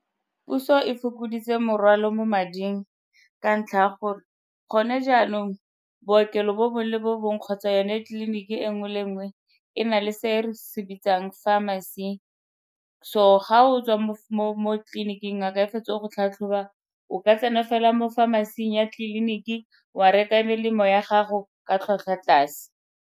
Puso e fokoditse morwalo mo mading ka ntlha ya gore gone jaanong bookelo bo bongwe le bo bongwe kgotsa yone tleliniki e nngwe le nngwe e na le se re se bitsang pharmacy, so ga o tswa mo tleliniking ngaka e fetsa go go tlhatlhoba o ka tsena fela mo pharmacy-ing ya tleliniki wa reka melemo ya gago ka tlhwatlhwa tlase.